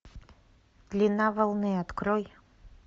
длина волны открой